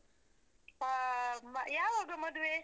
ಅಹ್ ಯಾವಾಗ ಮದುವೆ?